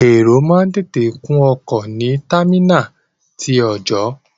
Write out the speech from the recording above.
Èrò máa ń tètè kún ọkọ̀ ní támínàlí ti ọọ̀jọ́.